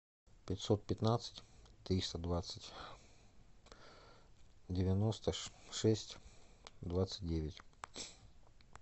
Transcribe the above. пятьсот пятнадцать триста двадцать девяносто шесть двадцать девять